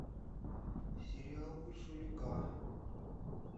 сериал урсуляка